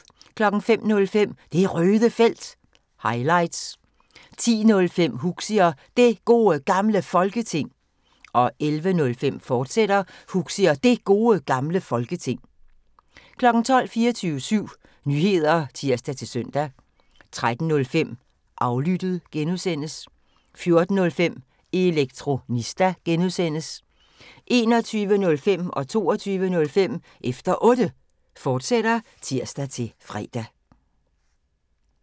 05:05: Det Røde Felt – highlights 10:05: Huxi og Det Gode Gamle Folketing 11:05: Huxi og Det Gode Gamle Folketing, fortsat 12:00: 24syv Nyheder (tir-søn) 13:05: Aflyttet (G) 14:05: Elektronista (G) 21:05: Efter Otte, fortsat (tir-fre) 22:05: Efter Otte, fortsat (tir-fre)